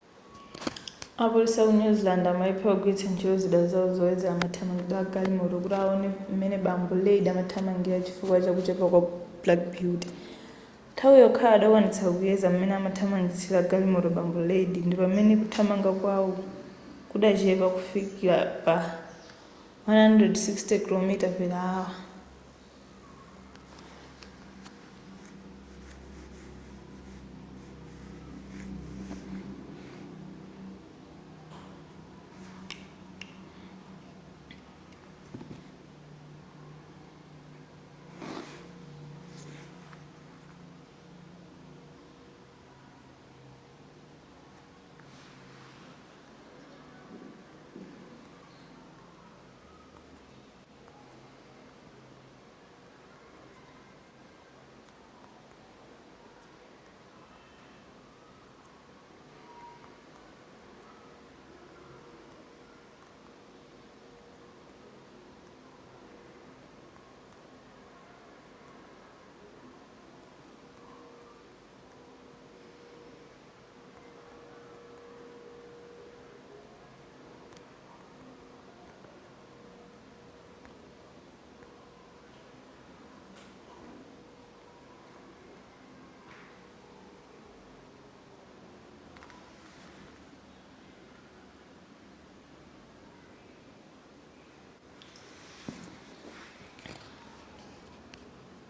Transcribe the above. apolisi aku new zealand amalephera kugwiritsa ntchito zida zawo zoyezera mathamangidwe agalimoto kuti awone m'mene bambo reid amathamangira chifukwa chakuchepa kwa black beauty nthawi yokhayo adakwanitsa kuyeza m'mene amathamangisira galimoto bambo reid ndipamene kuthamanga kwawo kudachepa kufika pa 160km /h